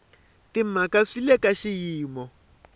timhaka swi le ka xiyimo